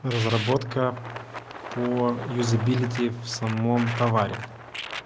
разработка по юзабилити в самом товаре